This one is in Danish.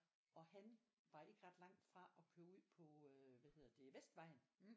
Og han var ikke ret langt fra at køre ud på øh hvad hedder det Vestvejen